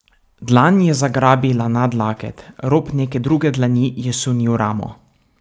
Dlan je zagrabila nadlaket, rob neke druge dlani je sunil ramo.